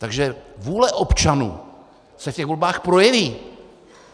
Takže vůle občanů se v těch volbách projeví.